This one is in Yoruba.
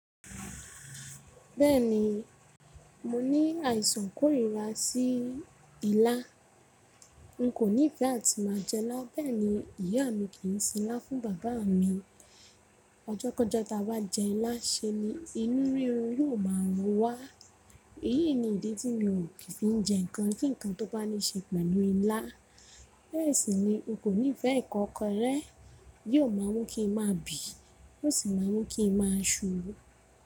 Bẹ́ẹ̀ni, mo ní àìsàn kórìíra sí ilá. N kò nífẹ́ àti má a jẹ ilá, bẹ́ẹ̀ ni ìyá mi kì í sin ilá fún bàbá mi. Ọjọ́ kọjọ́ tí a bá jẹ ilá ṣe ni inú rírun yóò má a rún wá. Èyí ni ìdí tí mi ò ki fi n jẹ nǹkan kí nǹkan tó bá ní ṣe pẹ̀lú ilá. Bẹ́ẹ̀ sì ni o kò nífẹ́ ikokorẹ, yóò má a mú kí n má a bì, yóò sì má a mú kí n má a ṣú.